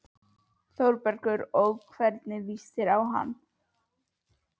ÞÓRBERGUR: Og hvernig líst þér á hann?